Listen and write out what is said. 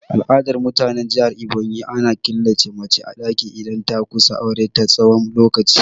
A al'adar mutanen jihar Ebonyi, ana killace mace a daki idan ta kusa aure na tsawon lokaci.